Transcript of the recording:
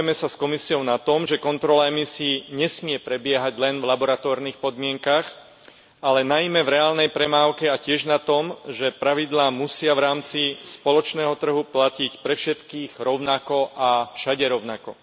Zhodujeme sa s Komisiou na tom, že kontrola emisií nesmie prebiehať len v laboratórnych podmienkach, ale najmä v reálnej premávke a tiež na tom, že pravidlá musia v rámci spoločného trhu platiť pre všetkých rovnako a všade rovnako.